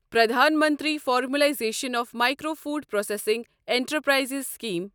Pradhan Mantri formalisation of micro food processing enterprises scheme